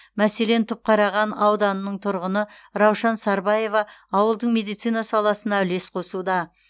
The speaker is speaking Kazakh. мәселен түпқараған ауданының тұрғыны раушан сарбаева ауылдың медицина саласына үлес қосуда